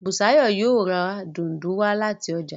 Busayo yóò rá Dùndú wá láti ọjà.